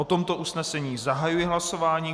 O tomto usnesení zahajuji hlasování.